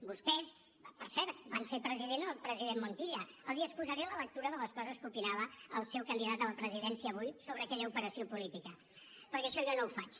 vostès per cert van fer president el president montilla els estalviaré la lectura de les coses que opinava el seu candidat a la presidència avui sobre aquella operació política perquè això jo no ho faig